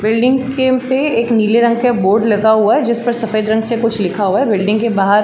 Building के उपे एक नीले रंग का बोर्ड लगा हुआ जिस पे सफ़ेद रंग से कुछ लिखा हुआ है। बिल्डिंग के बाहार --